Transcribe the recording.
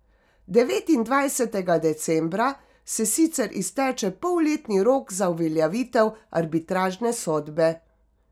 Devetindvajsetega decembra se sicer izteče polletni rok za uveljavitev arbitražne sodbe.